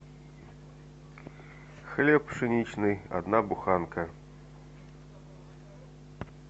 хлеб пшеничный одна буханка